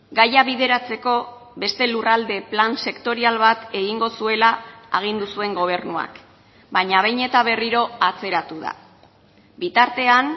gaia bideratzeko beste lurralde plan sektorial bat egingo zuela agindu zuen gobernuak baina behin eta berriro atzeratu da bitartean